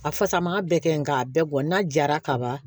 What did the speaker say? A fasa man bɛɛ kɛ nga a bɛɛ bɔn n'a jara kaban